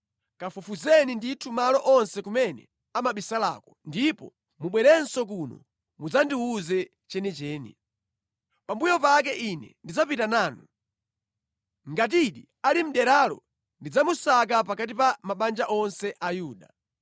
Kafufuzeni ndithu malo onse kumene amabisalako, ndipo mubwerenso kuno mudzandiwuze chenicheni. Pambuyo pake ine ndidzapita nanu. Ngatidi ali mʼderalo ndidzamusaka pakati pa mabanja onse a Yuda.”